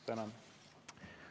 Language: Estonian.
Tänan!